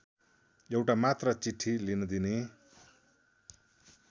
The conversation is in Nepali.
एउटा मात्र चिठी लिन दिने